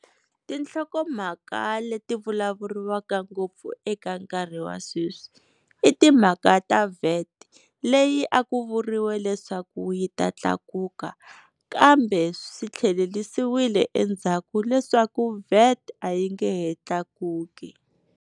Tinhlokomhaka leti vulavuriwaka ngopfu eka nkarhi wa sweswi i timhaka ta VAT leyi a ku vuriwe leswaku yi ta tlakuka kambe swi tlhelelisiwile endzhaku leswaku VAT a yi nge he tlakuki.